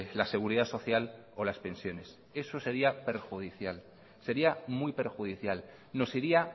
la seguridad social o las pensiones eso sería perjudicial sería muy perjudicial nos iría